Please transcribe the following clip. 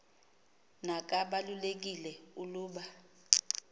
na kabalulekile uluba